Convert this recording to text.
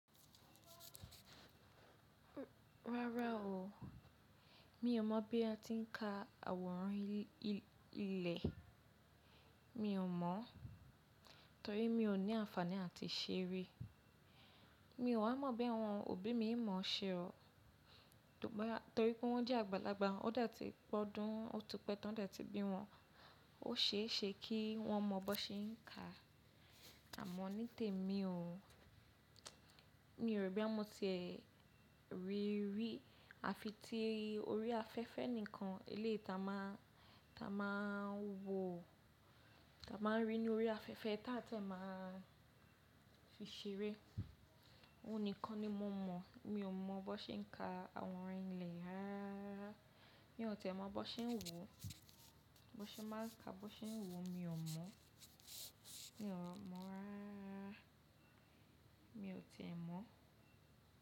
Rárá o, mi ò mọ̀ bí a ti ń ka àwòrán ilẹ̀. Mi ò mọ̀ torí mi ò ní àǹfààní àti se ri Mi ò wa mọ̀ bí àwọn òbí mi mọ̀ ṣe o torí pé wọ́n jẹ́ àgbàlagbà. Ó dà tí pọ́ndún otú pẹ́ta ọ̀dẹ́ tí bí wọn. Ó ṣe é ṣe kí wọ́n mọ bó ṣe ń ka. Àmọ́ ní tèmi o, mi o ro boya mo ti e ri ri a fi ti orí afẹ́fẹ́ nìkan. Ilé ta máa ta máa wọ, ta máa rí ní orí afẹ́fẹ́ ta tẹ máa fi ṣeré. Ó nìkan ni mo mọ̀. Mi ò mọ̀ bó ṣe ń ka àwòrán ilẹ̀ rárá. Mi ò tì mọ̀ bó ṣe ń wò, bó ṣe máa ń ka, bó ṣe ń wò mi ò mọ̀. Mi ò mọ̀ rárá. Mi ò tì mọ̀